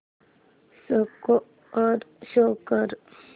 score show कर